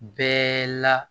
Bɛɛ la